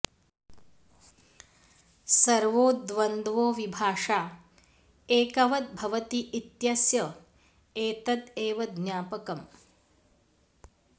सर्वो द्वन्द्वो विभाषा एकवद् भवति इत्यस्य एतद एव ज्ञापकम्